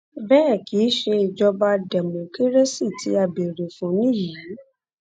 bẹẹ kì í ṣe ìjọba dẹmọkírésì tí a béèrè fún nìyí